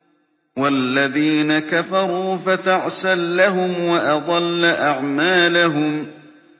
وَالَّذِينَ كَفَرُوا فَتَعْسًا لَّهُمْ وَأَضَلَّ أَعْمَالَهُمْ